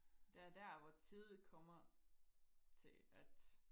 det er der hvor tid kommer til at